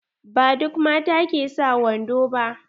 Ba duk mata ke sa wando ba.